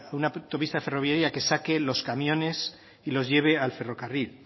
una autopista ferroviaria que saque los camiones y los lleve al ferrocarril